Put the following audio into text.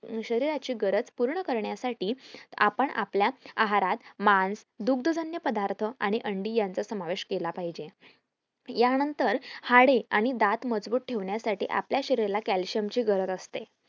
शरीराची गरज पूर्ण करण्यासाठी आपण आपल्या आहारात मांस दुगद्जग्न पदार्थ आणि अंडी यांचा समावेश केला पाहिजे या नंतर हाडे आणि दात मजबूत ठेवायला आपल्या शरीराला calcium ची गरज असते